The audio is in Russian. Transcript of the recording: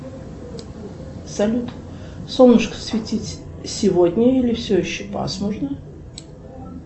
салют солнышко светить сегодня или все еще пасмурно